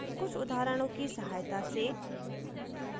कुछ उदाहरणों की सहायता से